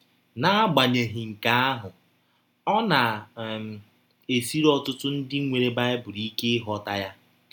N’agbanyeghị nke ahụ, ọ na - um esiri ọtụtụ ndị nwere Baịbụl ike ịghọta ya. um